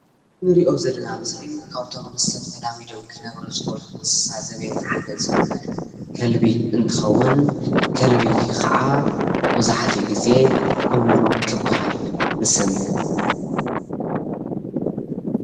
ንሪኦ ዘለና ምስሊ ካብቶም ምስ ሰብ ተላሚዶም ክነብረ ዝክእሉ እንስሳ ዘቤት ሓደ ዝኮነ ከልቢ እንትኸውን ከልቢ ከዓ መብዛሕትኡ ግዘ እሙን ክበሃል ንሰምዕ።